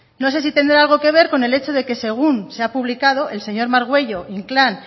no sé si tendrá algo que ver con el hecho de que según se ha publicado el señor margüello inclán